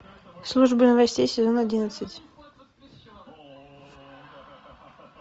служба новостей сезон одиннадцать